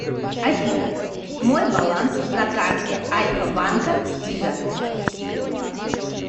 афина мой баланс на карте альфа банка виза